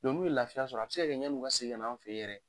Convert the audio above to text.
n'u ye lafiya sɔrɔ, a bi se ka kɛ, yann'u ka segin ka na an fe yɛrɛ